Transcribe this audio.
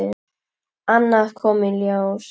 Annað kom í ljós.